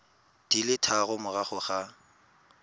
di le tharo morago ga